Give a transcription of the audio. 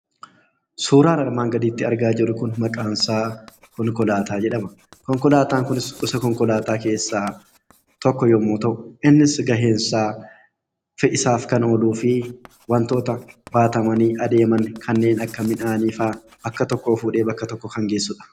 Suuraan armaan gadiitti argaa jirru kun suuraa konkolaataa jedhama. Konkolaataan kunis gosa konkolaataa keessaa tokko yommuu ta'u, innis gaheen isaa fe'isaaf kan ooluu fi wantoota baatamanii deeman kanneen akka midhaanii fa'aa bakka tokkoo fuudhee bakka biraa kan geessudha.